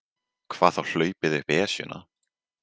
Hvað þá hlaupið upp Esjuna.